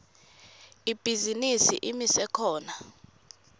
ibhizinisi imise khona